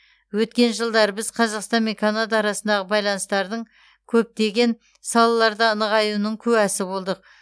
өткен жылдары біз қазақстан мен канада арасындағы байланыстардың көптеген салаларда нығаюының куәсі болдық